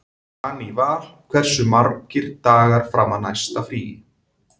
Daníval, hversu margir dagar fram að næsta fríi?